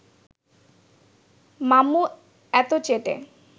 মাম্মু এতো চেটে